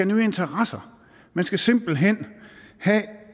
nye interesser man skal simpelt hen have